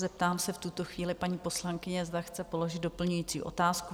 Zeptám se v tuto chvíli paní poslankyně, zda chce položit doplňující otázku?